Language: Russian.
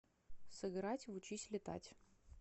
сыграть в учись летать